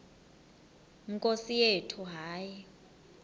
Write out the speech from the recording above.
nkosi yethu hayi